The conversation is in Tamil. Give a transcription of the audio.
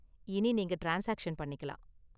இனி நீங்க ட்ரான்ஸ்சாக்சன் பண்ணிக்கலாம்.